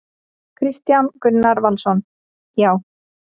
Kristján Gunnar Valsson: Já.